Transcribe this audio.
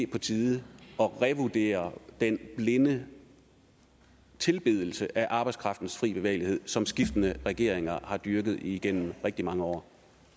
på tide at revidere den blinde tilbedelse af arbejdskraftens fri bevægelighed som skiftende regeringer har dyrket igennem rigtig mange år